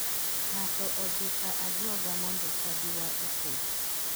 Ng'ato odhi ka ajuoga mondo chadiwa opodh.